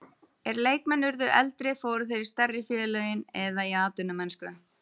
Er leikmenn urðu eldri fóru þeir í stærri félögin eða í atvinnumennsku.